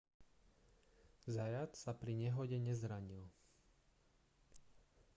zayat sa pri nehode nezranil